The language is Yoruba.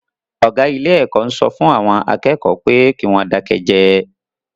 Ọ̀gá ilé-ẹ̀kọ́ ń sọ fún àwọn akẹ́kọ̀ọ́ pé kí wọ́n dákẹ́ jẹ́ẹ́.